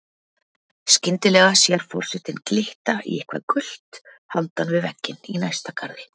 Skyndilega sér forsetinn glitta í eitthvað gult handan við vegginn í næsta garði.